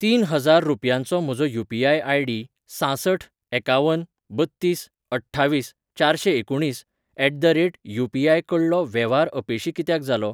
तीन हजार रुपयांचो म्हजो यू.पी.आय.आय.डी सांसठ एकावन बत्तीस अठ्ठावीस चारशेंएकुणीस एट द रेट यू.पी.आय.कडलो वेव्हार अपेशी कित्याक जालो?